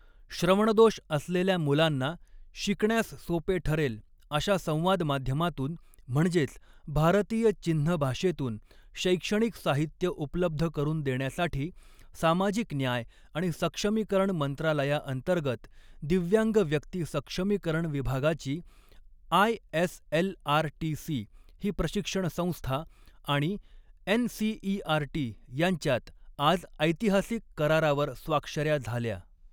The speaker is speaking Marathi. श्रवणदोष असलेल्या मुलांना, शिकण्यास सोपे ठरेल अशा संवाद माध्यमातून, म्हणजेच भारतीय चिन्ह भाषेतून शैक्षणिक साहित्य उपलब्ध करून देण्यासाठी, सामाजिक न्याय आणि सक्षमीकरण मंत्रालयाअंतर्गत, दिव्यांग व्यक्ती सक्षमीकरण विभागाची, I S L R T C ही प्रशिक्षण संस्था आणि N C E R T यांच्यात, आज ऐतिहासिक करारावर स्वाक्षऱ्या झाल्या.